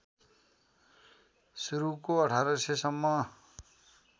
सुरुको १८०० सम्म